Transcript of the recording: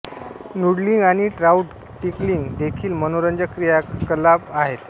noodling आणि trout tickling देखील मनोरंजक क्रियाकलाप आहेत